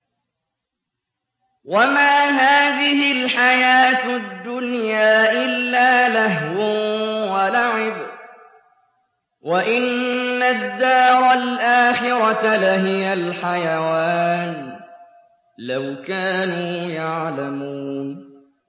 وَمَا هَٰذِهِ الْحَيَاةُ الدُّنْيَا إِلَّا لَهْوٌ وَلَعِبٌ ۚ وَإِنَّ الدَّارَ الْآخِرَةَ لَهِيَ الْحَيَوَانُ ۚ لَوْ كَانُوا يَعْلَمُونَ